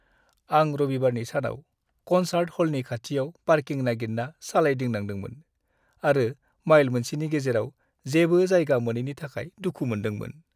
आं रबिबारनि सानाव कनसार्ट ह'लनि खाथियाव पार्किं नागिरना सालायदिंनांदोंमोन आरो माइल मोनसेनि गेजेराव जेबो जायगा मोनैनि थाखाय दुखु मोनदोंमोन।